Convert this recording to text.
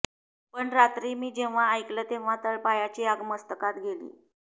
पण रात्री मी जेव्हा ऐकलं तेव्हा तळपायाची आग मस्तकात गेली